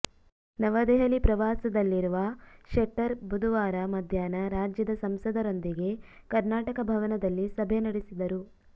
ನವದೆಹಲಿ ಪ್ರವಾಸದಲ್ಲಿರುವ ಶೆಟ್ಟರ್ ಬುಧವಾರ ಮಧ್ಯಾಹ್ನ ರಾಜ್ಯದ ಸಂಸದರೊಂದಿಗೆ ಕರ್ನಾಟಕ ಭವನದಲ್ಲಿ ಸಭೆ ನಡೆಸಿದರು